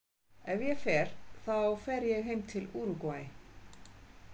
Ef ég fer þá fer ég heim til Úrúgvæ.